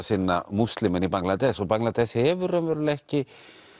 sinna Múslimanna í Bangladesh og Bangladesh hefur raunverulega ekki